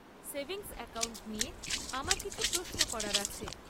Savings account নিয়ে আমার কিছু প্রশ্ন করার আছে।